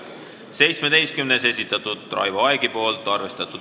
17. muudatusettepaneku on esitanud Raivo Aeg, täielikult arvestatud.